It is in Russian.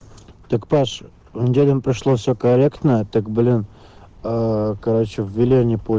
так паша на неделе им пришло все корректно так блин ээ короче ввели они поч